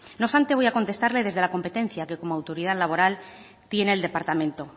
no obstante voy a contestarle desde la competencia que como autoridad laboral tiene el departamento